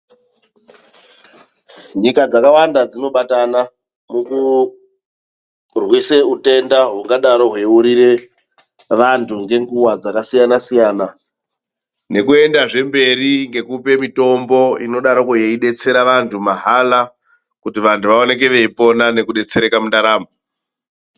Nyika dzakawanda dzinobatana mukurwise utenda hungadaro hweiurire vantu ngenguwa dzakasiyana siyana. Nekuendezve mberi ngekupe mitombo inodaroko yeidetsera vantu mahala kuti vanhu vaonekwe veipona nekudetsereka mundaramo.